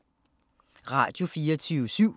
Radio24syv